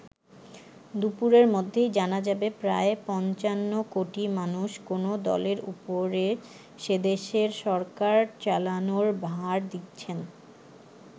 দুপুরের মধ্যেই জানা যাবে প্রায় পঞ্চান্ন কোটি মানুষ কোন দলের ওপরে সেদেশের সরকার চালানোর ভার দিচ্ছেন।